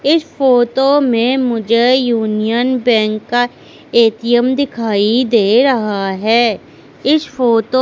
इस फोटो में मुझे यूनियन बैंक का ए_टी_एम दिखाई दे रहा है इस फोटो --